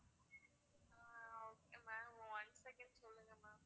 ஆஹ் okay ma'am one second சொல்லுங்க ma'am